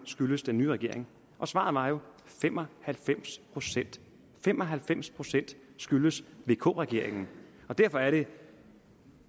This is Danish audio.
skyldes den nye regering og svaret var jo at fem og halvfems procent fem og halvfems procent skyldes vk regeringen og derfor er det